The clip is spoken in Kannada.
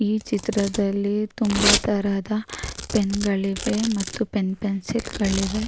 ಈ ಚಿತ್ರದಲ್ಲಿ ತುಂಬಾ ತರಹದ ಪೆನ್ ಗಳಿವೆ ಮತ್ತು ಪೆನ್ ಪೆನ್ಸಿಲ್ ಗಳಿವೆ.